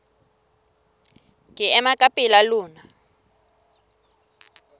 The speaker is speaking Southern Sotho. ke ema ka pela lona